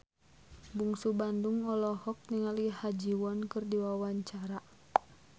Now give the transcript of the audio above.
Bungsu Bandung olohok ningali Ha Ji Won keur diwawancara